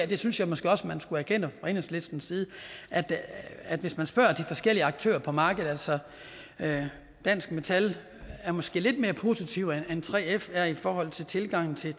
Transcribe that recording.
det synes jeg måske også man skulle erkende fra enhedslistens side at hvis man spørger de forskellige aktører på markedet så er dansk metal måske lidt mere positive end 3f er i forhold til tilgangen til